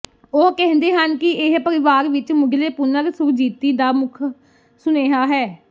ਉਹ ਕਹਿੰਦੇ ਹਨ ਕਿ ਇਹ ਪਰਿਵਾਰ ਵਿਚ ਮੁਢਲੇ ਪੁਨਰ ਸੁਰਜੀਤੀ ਦਾ ਮੁੱਖ ਸੁਨੇਹਾ ਹੈ